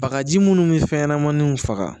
Bagaji munnu bɛ fɛn ɲɛnamaninw faga